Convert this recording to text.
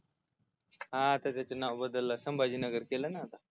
हा त्याच ते नाव बदललय संभाजी नगर केलयं ना आता